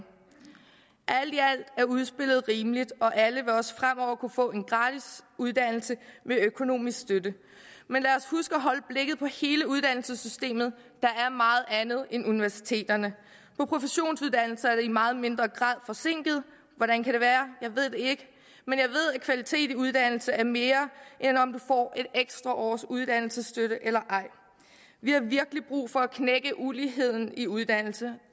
alt i alt er udspillet rimeligt og alle vil også fremover kunne få en gratis uddannelse med økonomisk støtte men lad os huske at holde blikket på hele uddannelsessystemet der er meget andet end universiteterne på professionsuddannelserne er de i meget mindre grad forsinket hvordan kan det være jeg ved at kvalitet i uddannelse er mere end om du får et ekstra års uddannelsesstøtte eller ej vi har virkelig brug for at knække uligheden i uddannelse